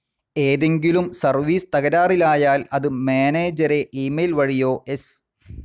ഏതെങ്കിലും സർവീസ്‌ തകരാറിലായാൽ അത് മാനേജരെ ഇമെയിൽ വഴിയോ എസ്.